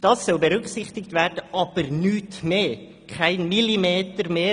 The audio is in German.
Diese soll berücksichtigt werden, aber kein Millimeter mehr.